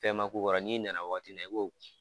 Fɛn ma k'u kɔrɔ, n'i nana waati min na, i b'o